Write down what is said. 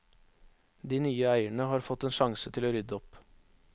De nye eierne har fått en sjanse til å rydde opp.